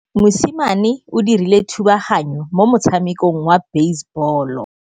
Mosimane o dirile thubaganyô mo motshamekong wa basebôlô.